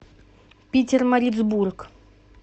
питермарицбург